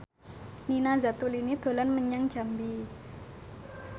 Nina Zatulini dolan menyang Jambi